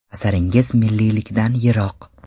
Asaringiz milliylikdan yiroq.